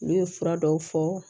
N'u ye fura dɔw fɔ